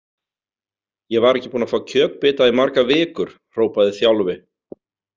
Ég var ekki búinn að fá kjötbita í margar vikur, hrópaði Þjálfi.